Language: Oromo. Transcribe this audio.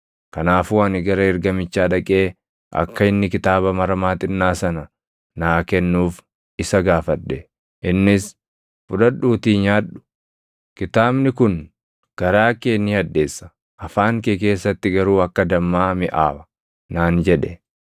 Kanaafuu ani gara ergamichaa dhaqee akka inni kitaaba maramaa xinnaa sana naa kennuuf isa gaafadhe. Innis, “Fudhadhuutii nyaadhu; kitaabni kun garaa kee ni hadheessa; ‘afaan kee keessatti garuu akka dammaa miʼaawa’ + 10:9 \+xt His 3:3\+xt*” naan jedhe.